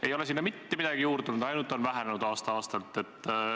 Ei ole sinna mitte midagi juurde tulnud, ainult on vähenenud aasta-aastalt.